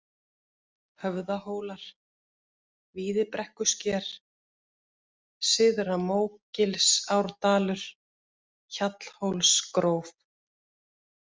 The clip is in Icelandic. Höfðahólar, Víðibrekkusker, Syðra-Mógilsárdalur, Hjallhólsgróf